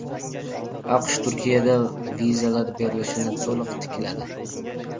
AQSh Turkiyada vizalar berilishini to‘liq tikladi.